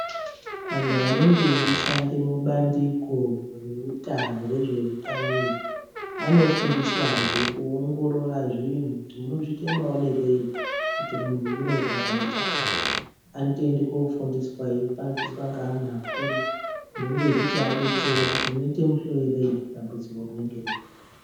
Anhu anenge achishanda mubandiko rezvehutano anofundiswa zve kuongorora zvinhu kuti unozviita maonerei kuti muntu anorwara nechakati anoenda kofundiswa achoitiswa neana akuru achinge achivadetsera kuti unoita muhloyerei dambudziko rinenge ririko.